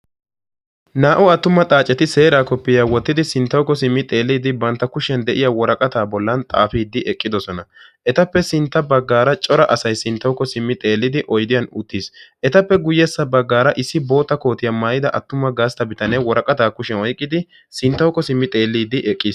Naa'u attuma xaaceti seeraa koppiya wottidi sinttawuko simmidi xeelidi bantta kushiyan deiya woraqqatta bollan xaafidi eqqidosona. Etape sintta baggara cora asaay sintawuko simmi xeelidi oyddiyan uttiis. Etape guuyessa baggara issi bootta kootiya maayida attuma gastta biitane woraqqata kushiyan oyqqidi sintawuko simi xeelidi eqqiis.